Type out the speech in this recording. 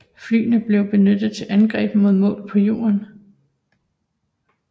Flyene blev benyttet til angreb mod mål på jorden